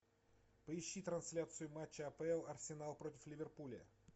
поищи трансляцию матча апл арсенал против ливерпуля